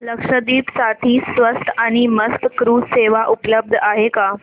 लक्षद्वीप साठी स्वस्त आणि मस्त क्रुझ सेवा उपलब्ध आहे का